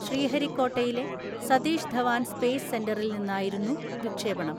ശ്രീഹരികോട്ടയിലെ Satish Dhawan space സെന്ററിൽ നിന്നായിരുന്നു വിക്ഷേപണം.